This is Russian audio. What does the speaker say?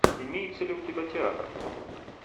имеется ли у тебя театр